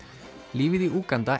lífið í Úganda